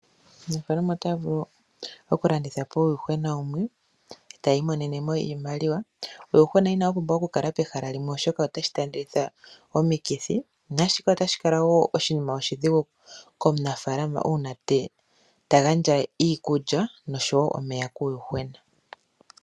Aanafalama otaa vulu oku landithapo uuyuhwena wumwe etayi monenemo iimaliwa. Uuyuhwena inawu pumbwa oku kala pehala limwe oshoka otashi tandeleke omikithi. Nashika otashi kala wo oshima oshidhigu komunafaalama uuna tagandja iikulya iikulya noshowo omeya kuuyuhwena